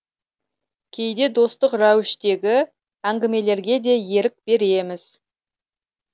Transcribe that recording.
кейде достық рәуіштегі әңгімелерге де ерік береміз